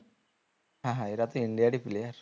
হ্যাঁ হ্যাঁ এরা তো India র ই player